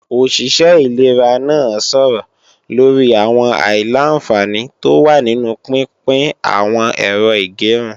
Òṣìṣẹ́ ṣẹ ìlera náà a sọ̀rọ̀ lorí àwọn àìlà-àǹfààní tó wà nínu pínpín n àwọn Ẹ̀rọ ìgẹrun